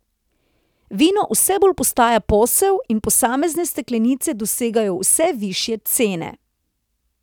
Vino vse bolj postaja posel in posamezne steklenice dosegajo vse višje cene.